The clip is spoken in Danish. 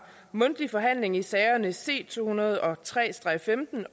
mundtlig forhandling i sagerne c to hundrede og tre